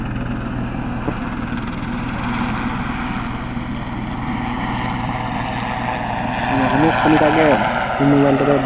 আমিও খানিক আগে mobile টারে,